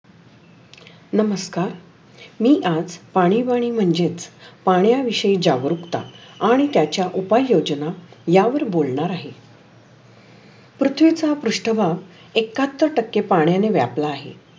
नमस्कार मी आज पाणी पाणी वाणी म्हंजेत पाण्या विषयी जागरुकता आणि त्याच्या उपाय योजना या वर बोलनार आहे. पृथ्वीचा पृष्ठभाग एकाहत्तर टक्के पण्याने व्यापला आहे.